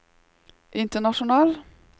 international